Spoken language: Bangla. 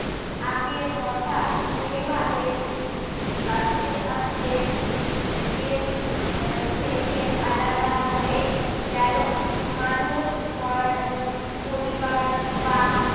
আগের কথা। এই ভাবে আস্তে আস্তে ape এর থেকে আলাদা হয়ে গেলো। মানুষ কর আহ পরিবার বা